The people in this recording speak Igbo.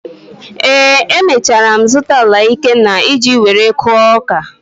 Ee, emechara m zụta ala Ikenna iji were kụọ ọka.